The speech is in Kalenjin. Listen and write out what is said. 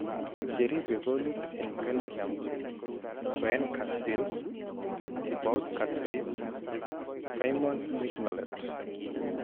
Cheribee koolit en Belgium: Koen Casteels , Thibaut Courtois , Simon Mignolet